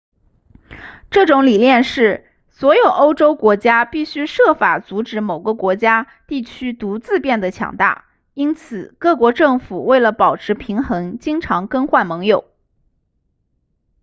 这种理念是所有欧洲国家必须设法阻止某个国家地区独自变得强大因此各国政府为了保持平衡经常更换盟友